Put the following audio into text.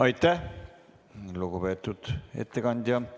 Aitäh, lugupeetud ettekandja!